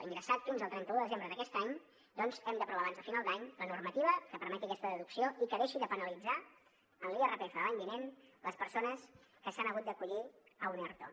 ingressat fins al trenta un de desembre d’aquest any doncs hem d’aprovar abans de final d’any la normativa que permeti aquesta deducció i que deixi de penalitzar en l’irpf de l’any vinent les persones que s’han hagut d’acollir a un erto